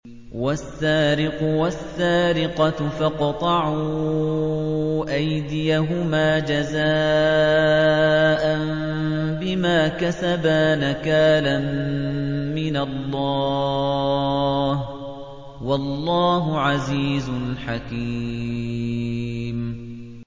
وَالسَّارِقُ وَالسَّارِقَةُ فَاقْطَعُوا أَيْدِيَهُمَا جَزَاءً بِمَا كَسَبَا نَكَالًا مِّنَ اللَّهِ ۗ وَاللَّهُ عَزِيزٌ حَكِيمٌ